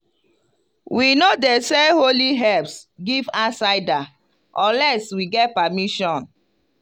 we no dey sell holy herbs give outsider unless we get permission.